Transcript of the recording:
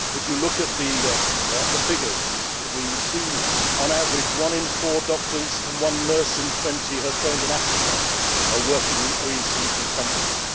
it. If you look at the figures, we see, on average, 1 in 4 doctors and 1 nurse in 20 has trained in Africa and is working in OECD countries.